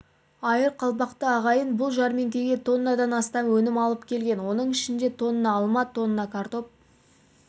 айыр қалпақты ағайын бұл жәрмеңкеге тоннадан астам өнім алып келген оның ішінде тонна алма тонна картоп